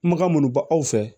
Makan munnu ba aw fɛ